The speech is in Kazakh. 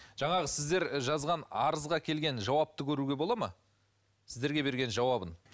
жаңағы сіздер жазған арызға келген жауапты көруге болады ма сіздерге берген жауабын